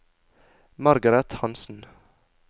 Margaret Hansen